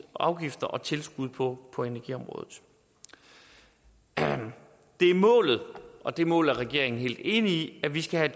afgifter og tilskud på på energiområdet det er målet og det mål er regeringen helt enig i at vi skal have